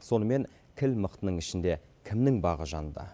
сонымен кіл мықтының ішінде кімнің бағы жанды